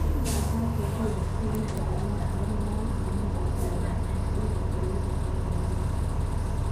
Machakos, AFC na Gor Mahia nĩmaracema muthaki wa gatagatĩ wa bũrũri wa Tathania.